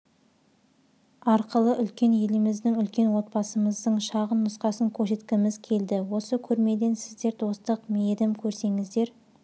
арқылы үлкен еліміздің үлкен отбасымыздың шағын нұсқасын көрсеткіміз келді осы көрмеден сіздер достық мейірім көрсеңіздер